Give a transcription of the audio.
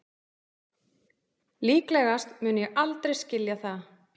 Líklegast mun ég aldrei skilja það